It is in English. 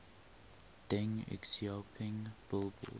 deng xiaoping billboard